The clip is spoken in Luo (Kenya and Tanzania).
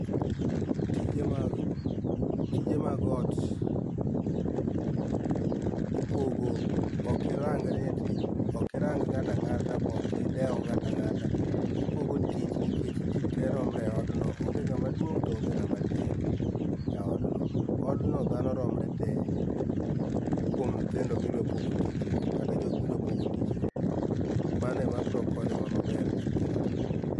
Tije mag, tije mag ot ipogo, okirang ni ati, okirang ng'ata ng'ata be okidew ng'ata ng'ata. Ipogo tich nikech jii tee romre e od no. Onge ng'ama duong' to onge ng'ama tin, e od no. Od no dhano romre tee kuom nyithindo midwa pogo tich go kata jok midwa pogo tich go. Mano e ma biro konyo wa maber kabisa.